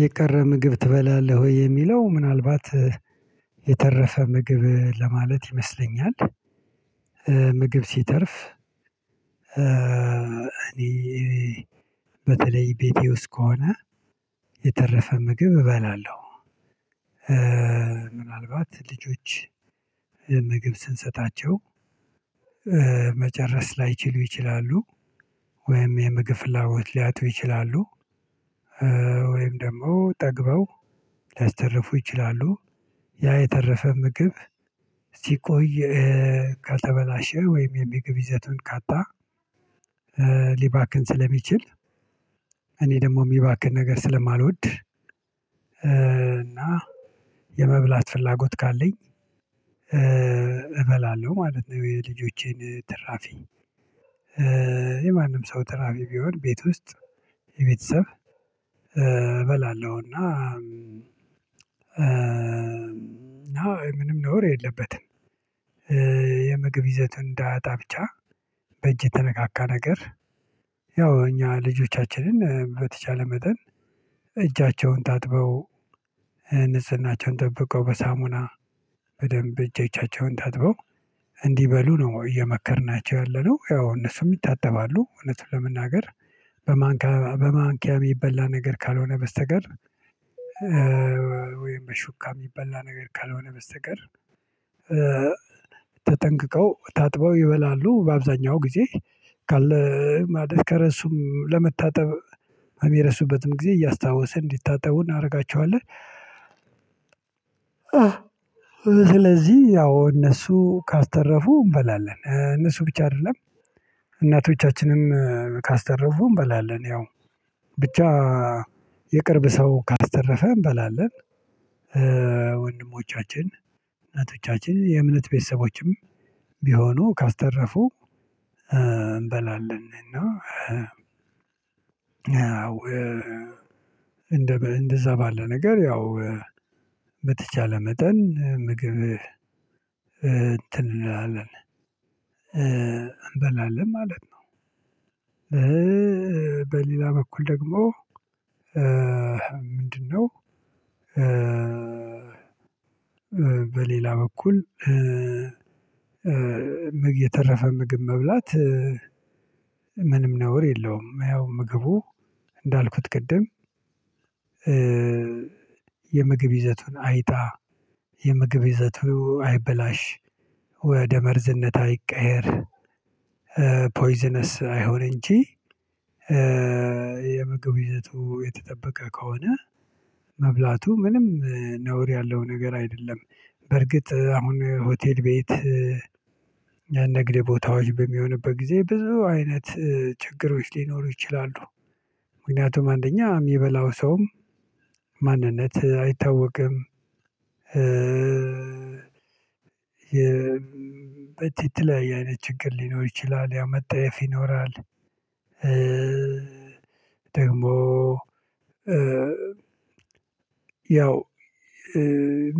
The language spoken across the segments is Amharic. የቀረ ምግብ ትበላለህ ወይ? የሚለው ምናልባት የተረፈ ምግብ ለማለት ይመስለኛል። ምግብ ሲተርፍ እኔ በተለይ ቤቴ ውስጥ ከሆነ የተረፈ ምግብ እበላለሁ። ምናልባት ልጆች ምግብ ስንሰጣቸው መጨረስ ላይችሉ ይችላሉ። ወይም የምግብፍላጎት ሊያጡው ይችላሉ ወይም ደግሞ ጠግበው ሊያስተርፉ ይችላሉ። ያ የተረፈ ምግብ ሲቆይ ከተበላሸ ወይም የሚግብ ይዘቱን ካጣ ሊባክን ስለሚችል እኔ ደግሞ የሚባክን ነገር ስለማልወድ እና የመብላት ፍላጎት ካለኝ እበላለሁ ማለት ነው የልጆቼን ትራፊ። የማንም ሰው ትራፊ ቢሆን ቤት ውስጥ የቤተሰብ እበላለሁ። እና አዎ ምንም ነውር የለበትም። የምግብ ይዘት እንዳያጣ ብቻ በእጅ የተነካካ ነገር ያው እኛ ልጆቻችንን በተቻለ መጠን እጃቸውን ታጥበው ንጽህናቸውን ጠብቀው በሳሙና በደንብ እጃቸውን ታጥበው እንዲበሉ ነው እየመከርናቸው ያለነው። ያው እነሱም ይታጠባሉ። እውነቱን ለመናገር በማንኪያ በማንኪያ የሚበላ ነገር ካልሆነ በስተቀር ወይም በሹካ የሚበላ ነገር ካልሆነ በስተቀር ተጠንቅቀው ታጥበው ይበላሉ። በአብዛኛው ጊዜ ካለ ማለት ከረሱም ለመታጠብ የሚረሱበትም ጊዜ እያስታወሰን እንዲታጠቡ እናደርጋቸዋለን። ስለዚህ ያው እነሱ ካስተረፉ እንበላለን። እነሱ ብቻ አይደለም እናቶቻችንም ካስተረፉም እንበላለን። ያው ብቻ የቅርብ ሰው ካስተረፈ እንበላለን። ወንድሞቻችን እምነቶቻችን የእምነት ቤተሰቦችም ቢሆኑ ካስተረፉ እንበላለን። እና አዎ እንደዛ ባለ ነገር ያው በተቻለ መጠን ምግብ እንትን እንላለን እንበላለን ማለት ነው። በሌላ በኩል ደግሞ ምንድነው በሌላ በኩል ምግብ የተረፈ ምግብ መብላት ምንም ነውር የለውም። ያው ምግቡ እንዳልኩት ቅድም የምግብ ይዘቱን አይጣ የምግብ ይዘቱ አይበላሽ ወደ መርዝነት አይቀየር ፖይዘነስ አይሁን እንጂ የምግብ ይዘቱ የተጠበቀ ከሆነ መብላቱ ምንም ነውር ያለው ነገር አይደለም። በርግጥ አሁን ሆቴል ቤት የንግድ ቦታዎች በሚሆንበት ጊዜ ብዙ አይነት ችግሮች ሊኖሩ ይችላሉ። ምክንያቱም አንደኛ የሚበላው ሰውም ማንነት አይታወቅም። የበተ የተለያየ አይነት ችግር ሊኖር ይችላል። ያው መጠየፍ ይኖራል። ደግሞ ያው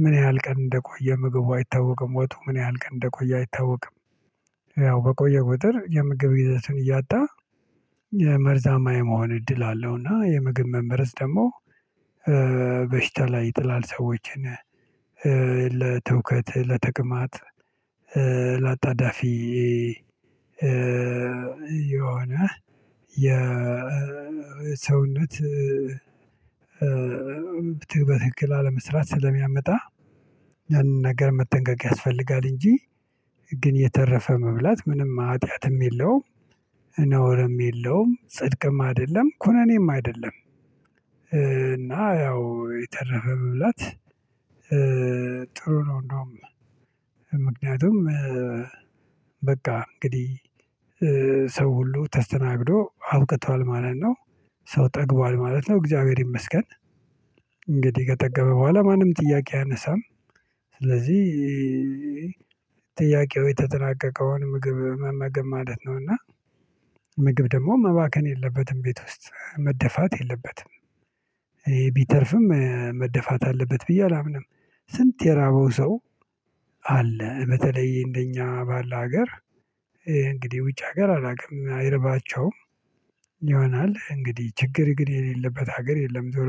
ምን ያህል ቀን እንደቆየ ምግቡ አይታወቅም። ወጡ ምን ያህል ቀን እንደቆየ አይታወቅም። ያው በቆየ ቁጥር የምግብ ጊዜውን እያጣ የመርዛማ የመሆን እድል አለው። እና የምግብ መመረዝ ደግሞ በሽታ ላይ ይጥላል ሰዎችን። ለትውከት፣ ለትቅማት፣ ለአጣዳፊ የሆነ የሰውነት በትክክል አለመስራት ስለሚያመጣ ያንን ነገር መጠንቀቅ ያስፈልጋል። እንጂ ግን የተረፈ መብላት ምንም ኃጢአትም የለውም። ነውርም የለውም። ጽድቅም አይደለም። ኩነኔም አይደለም። እና ያው የተረፈ መብላት ጥሩ ነው። እንደውም ምክንያቱም በቃ እንግዲህ ሰው ሁሉ ተስተናግዶ አብቅቷል ማለት ነው። ሰው ጠግቧል ማለት ነው። እግዚአብሔር ይመስገን። እንግዲህ ከጠገበ በኋላ ማንም ጥያቄ አያነሳም። ስለዚህ ጥያቄው የተጠናቀቀውን ምግብ መመገብ ማለት ነው። እና ምግብ ደግሞ መባከን የለበትም። ቤት ውስጥ መደፋት የለበትም። ቢተርፍም መደፋት አለበት ብዬ አላምንም። ስንት የራበው ሰው አለ። በተለይ እንደኛ ባለ ሀገር እንግዲህ ውጭ ሀገር አላውቅም አይረባቸውም ይሆናል። እንግዲህ ችግር ግን የሌለበት ሀገር የለም።